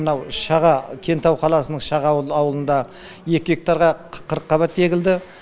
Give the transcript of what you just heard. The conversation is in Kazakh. мынау шаға кентау қаласының шаға ауылында екі гектарға қырыққабат егілді